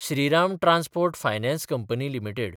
Shriram transport finance company limited